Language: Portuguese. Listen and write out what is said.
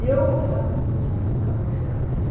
E eu falava, meu Deus, eu nunca vou ser assim.